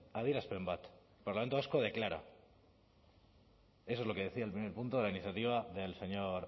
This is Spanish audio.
adierazpen bat el parlamento vasco declara eso es lo que decía el primer punto de la iniciativa del señor